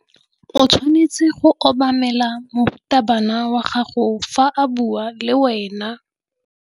O tshwanetse go obamela morutabana wa gago fa a bua le wena.